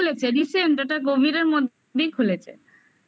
recent খুলেছে recent ওটা covid মধ্যেই খুলেছে